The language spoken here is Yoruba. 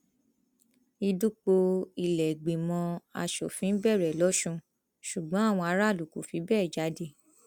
ìdìpọ ìlèégbínímọ asòfin bẹrẹ lọsùn ṣùgbọn àwọn aráàlú kò fi bẹẹ jáde